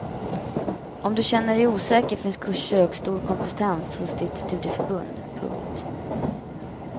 Om du känner dig osäker finns kurser och stor kompetens hos ditt studieförbund. punkt